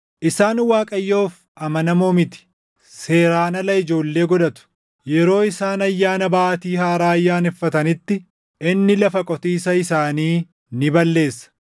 Isaan Waaqayyoof amanamoo miti; seeraan ala ijoollee godhatu. Yeroo isaan Ayyaana Baatii Haaraa ayyaaneffatanitti inni lafa qotiisaa isaanii ni balleessa.